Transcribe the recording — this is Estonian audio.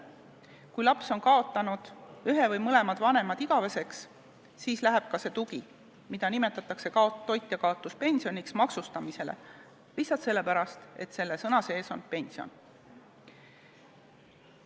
Kui laps on kaotanud ühe või mõlemad vanemad igaveseks, siis läheb ka see tugi, mida nimetatakse toitjakaotuspensioniks, maksustamisele, lihtsalt sellepärast, et selles nimetuses on sõna "pension".